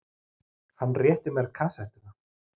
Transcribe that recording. Hann rétti mér kassettuna.